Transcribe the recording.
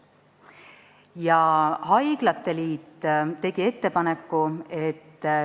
Ka haiglate liit tegi oma ettepaneku.